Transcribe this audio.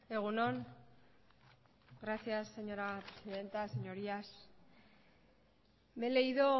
egun on gracias señora presidenta señorías me he leído